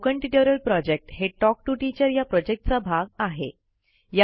spoken tutorial project हे talk to teacher या प्रॉजेक्टचा भाग आहे